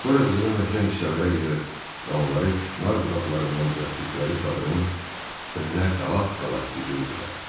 Sonra qızılı möhkəm kisələrə yığır və onları küknar budaqlarından düzəltdikləri çadırın önünə qalaq-qalaq düzürdülər.